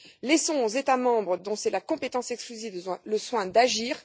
Laissons aux États membres, dont c'est la compétence exclusive, le soin d'agir.